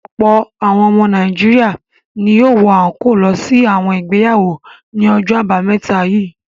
Ọ̀pọ̀ àwọn ọmọ Nàìjíríà ni yóò wọ àńkóò lọ sí àwọn ìgbéyàwó ní ọjọ́ àbámẹ́ta yìí.